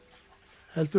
heldur